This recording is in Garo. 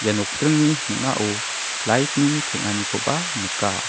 ia nokdringni ning·ao light-ni teng·anikoba nika.